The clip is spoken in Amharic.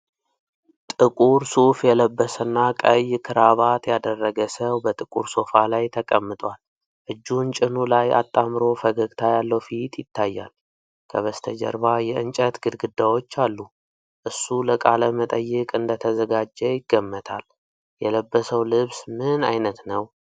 ጥቁር ሱፍ የለበሰና ቀይ ክራባት ያደረገ ሰው በጥቁር ሶፋ ላይ ተቀምጧል። እጁን ጭኑ ላይ አጣምሮ ፈገግታ ያለው ፊት ይታያል። ከበስተጀርባ የእንጨት ግድግዳዎች አሉ። እሱ ለቃለ መጠይቅ እንደተዘጋጀ ይገመታል። የለበሰው ልብስ ምን አይነት ነው?